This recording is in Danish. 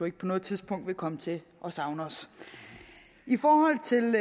ikke på noget tidspunkt vil komme til at savne os i forhold til den